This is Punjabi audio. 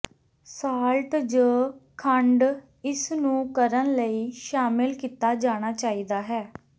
ਸਾਲ੍ਟ ਜ ਖੰਡ ਇਸ ਨੂੰ ਕਰਨ ਲਈ ਸ਼ਾਮਿਲ ਕੀਤਾ ਜਾਣਾ ਚਾਹੀਦਾ ਹੈ